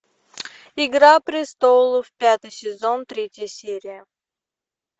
игра престолов пятый сезон третья серия